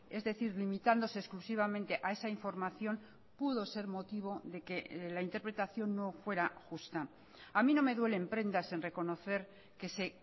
es decir limitándose exclusivamente a esa información pudo ser motivo de que la interpretación no fuera justa a mí no me duele en prendas en reconocer que se